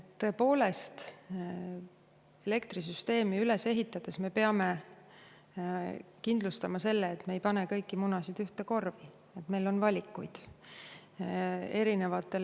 Tõepoolest, elektrisüsteemi üles ehitades me peame kindlustama selle, et me ei pane kõiki munasid ühte korvi, et meil on valikuid.